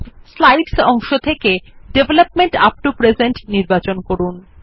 slides অংশ থেকে development up to present নির্বাচন করুন